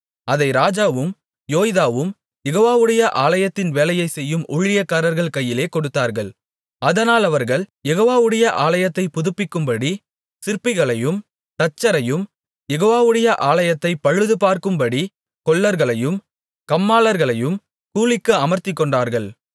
அதை ராஜாவும் யோய்தாவும் யெகோவாவுடைய ஆலயத்தின் வேலையைச் செய்யும் ஊழியக்காரர்கள் கையிலே கொடுத்தார்கள் அதனால் அவர்கள் யெகோவாவுடைய ஆலயத்தைப் புதுப்பிக்கும்படி சிற்பிகளையும் தச்சரையும் யெகோவாவுடைய ஆலயத்தைப் பழுதுபார்க்கும்படி கொல்லர்களையும் கம்மாளர்களையும் கூலிக்கு அமர்த்திக்கொண்டார்கள்